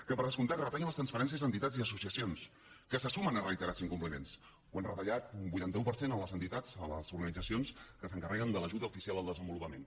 que per descomptat retallen les transferències a entitats i associacions que se sumen a reiterats incompliments ho han retallat un vuitanta un per cent a les entitats a les organitzacions que s’encarreguen de l’ajuda oficial al desenvolupament